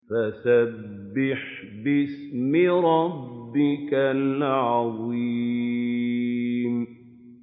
فَسَبِّحْ بِاسْمِ رَبِّكَ الْعَظِيمِ